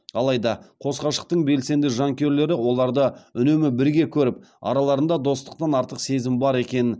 алайда қос ғашықтың белсенді жанкүйерлері оларды үнемі бірге көріп араларында достықтан артық сезім бар екенін